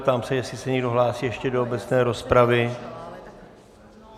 Ptám se, jestli se někdo hlásí ještě do obecné rozpravy.